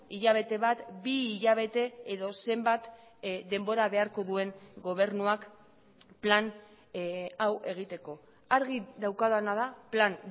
hilabete bat bi hilabete edo zenbat denbora beharko duen gobernuak plan hau egiteko argi daukadana da plan